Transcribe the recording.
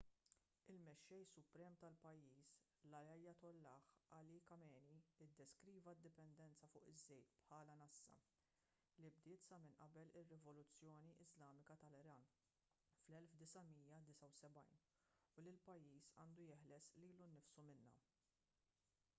il-mexxej suprem tal-pajjiż l-ayatollah ali khamenei iddeskriva d-dipendenza fuq iż-żejt bħala nassa li bdiet sa minn qabel ir-rivoluzzjoni iżlamika tal-iran fl-1979 u li l-pajjiż għandu jeħles lilu nnifsu minnha